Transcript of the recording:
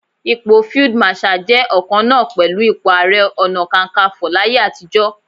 Ipò Field Marshal jẹ́ ọ̀kan náà pẹ̀lú ipò Ààrẹ Ọ̀nà Kakaǹfò láyé àtijọ́.